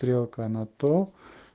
стрелка на то